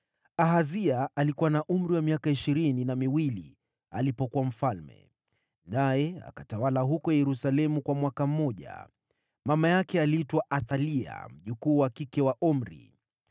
Ahazia alikuwa na umri wa miaka ishirini na miwili alipoanza kutawala, naye akatawala katika Yerusalemu kwa mwaka mmoja. Mama yake aliitwa Athalia, mjukuu wa Omri.